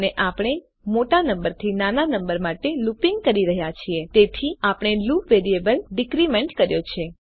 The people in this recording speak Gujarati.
અને આપણે મોટા નંબરથી નાના નંબર માટે લુપીંગ કરી રહ્યા છે તેથી આપણે લુપ વેરિયેબલ ડીક્રીમેન્ટ કર્યો છે